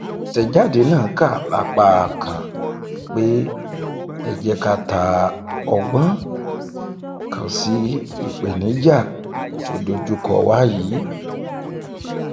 àtẹjáde náà kà lápá kan pé ẹ jẹ ká ta ọgbọn kan sí ìpèníjà tó dojúkọ wa yìí